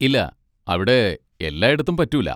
ഇല്ലാ, അവിടെ എല്ലായിടത്തും പറ്റൂല.